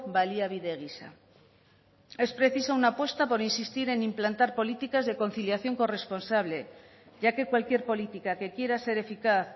baliabide gisa es preciso una apuesta por insistir en implantar políticas de conciliación corresponsable ya que cualquier política que quiera ser eficaz